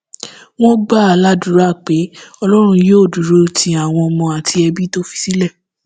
wọn gbà á ládùúrà pé ọlọrun yóò dúró ti àwọn ọmọ àti ẹbí tó fi sílẹ